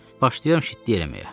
Başlayıram şitlik eləməyə.